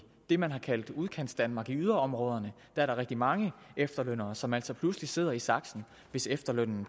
det man har kaldt udkantsdanmark altså yderområderne er rigtig mange efterlønnere som altså pludselig sidder i saksen hvis efterlønnen